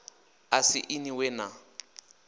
a si inwi we na